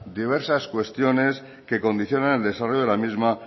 diversas cuestiones que condicionan el desarrollo de la misma